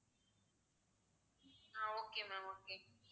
ah okay ma'am okay